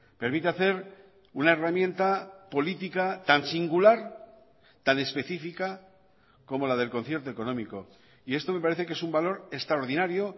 permite hacer una herramienta política tan singular tan específica como la del concierto económico y esto me parece que es un valor extraordinario